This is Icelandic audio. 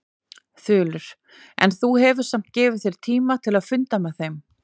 Þulur: En þú hefur samt gefið þér tíma til að funda með þeim?